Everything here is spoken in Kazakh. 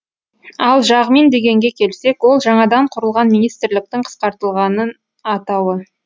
ал жағмин дегенге келсек ол жаңадан құрылған министрліктің қысқартылған атауы